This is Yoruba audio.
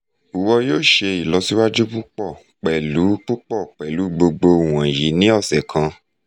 iwọ yoo ṣe ilọsiwaju pupọ pẹlu pupọ pẹlu gbogbo iwọnyi ni ọsẹ kan